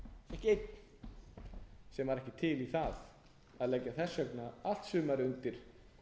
ekki einn sem var ekki til í það að leggja þess vegna allt sumarið undir